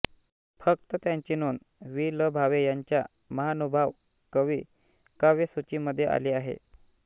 फक्त त्याची नोंद वि ल भावे यांच्या महानुभाव कवी काव्य सूची मध्ये आली आहे